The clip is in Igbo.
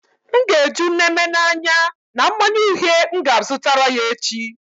M ga-eju Neme na anya na mmanya uhie m ga azutara ya echi